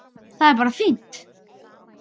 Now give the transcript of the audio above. Það er bara fínt!